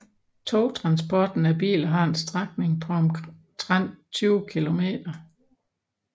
Togtransporten af biler har en strækning på omtrent 20 km